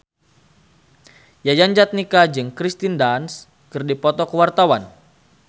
Yayan Jatnika jeung Kirsten Dunst keur dipoto ku wartawan